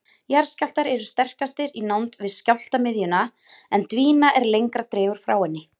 Jarðskjálftar eru sterkastir í nánd við skjálftamiðjuna en dvína er lengra dregur frá henni.